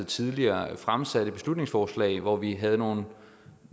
tidligere fremsatte et beslutningsforslag hvor vi havde nogle